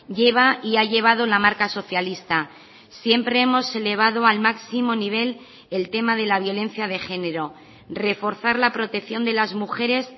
lleva y ha llevado la marca socialista siempre hemos elevado al máximo nivel el tema de la violencia de género reforzar la protección de las mujeres